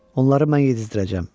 Onları mən yedizdirəcəm.